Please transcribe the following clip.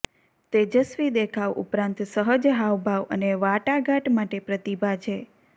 તેજસ્વી દેખાવ ઉપરાંત સહજ હાવભાવ અને વાટાઘાટ માટે પ્રતિભા છે